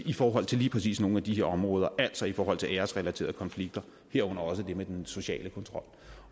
i forhold til lige præcis nogle af de her områder altså i forhold til æresrelaterede konflikter herunder også det med den sociale kontrol